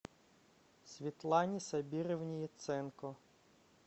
светлане сабировне яценко